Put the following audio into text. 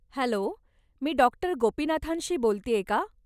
Hello, मी डाॅ. गोपीनाथांशी बोलतेय का?